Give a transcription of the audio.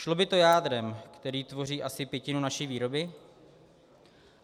Šlo by to jádrem, které tvoří asi pětinu naší výroby.